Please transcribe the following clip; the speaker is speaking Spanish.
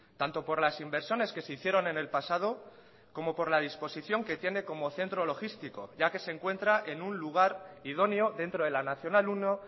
tanto por las inversiones que se hicieron en el pasado como por la disposición que tiene como centro logístico ya que se encuentra en un lugar idóneo dentro de la nacional uno